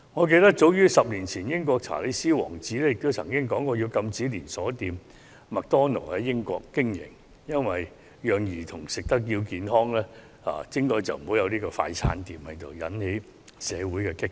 記得早在10年前，英國的查理斯王子曾提出禁止連鎖快餐店麥當勞在英國經營，好讓兒童吃得健康一點，杜絕快餐店，結果引來社會的一番激辯。